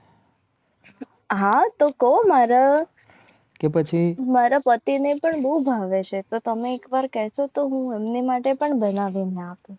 હા તો કહો મારા મારા પતિને પણ બહુ ભાવે છે. તો તમને એક વાર કહે દો. તો હું હમને માટે પણ બનાવેના